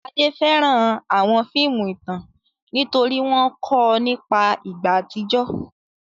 Ade fẹ́ràn àwọn fíìmù ìtàn nítorí wọ́n kọ́ ọ nípa ìgbà àtijọ́.